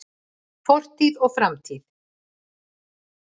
Fortíð og framtíð.